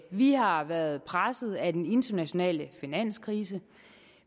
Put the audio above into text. vi har været presset af den internationale finanskrise